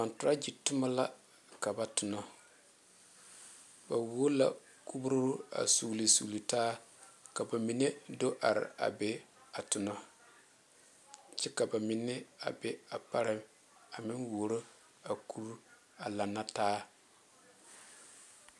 Konturagi tuma la ka ba a tuna ba wuo la Kuro a sugle sugle taa ka ba mine do are a be a tuna kyɛ ka ba mine a be a parɛ a meŋ wuoro a kuri a lanne taa.